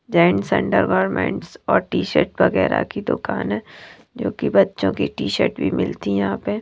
gents undergarments और T-shirt वगैरह की दुकान है जो कि बच्चों की टी-शर्ट भी मिलती है यहां पे--